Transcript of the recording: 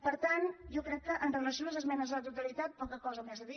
per tant jo crec que amb relació a les esmenes a la totalitat poca cosa més a dir